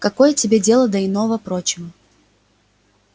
какое тебе дело до иного-прочего